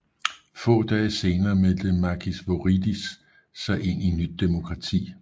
Få dage senere meldte Makis Voridis sig ind i Nyt demokrati